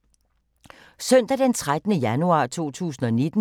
Søndag d. 13. januar 2019